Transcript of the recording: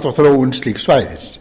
og þróun slíks svæðis segja